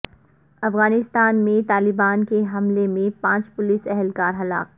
افغانستان میں طالبان کے حملے میں پانچ پولیس اہلکار ہلاک